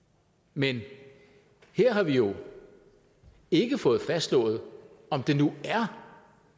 men her har vi jo ikke fået fastslået om det nu er